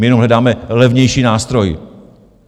My jenom hledáme levnější nástroj.